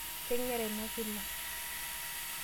Keng'era ina kila.